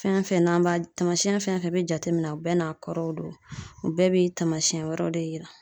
Fɛn fɛn n'an b'a, tamasiɲɛn fɛn fɛn be jateminɛ a bɛɛ n'a kɔrɔw do u bɛɛ be taamasiɲɛn wɛrɛw de yira.